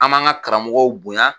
An b'an ka karamɔgɔ bonya.